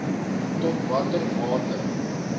tot watter mate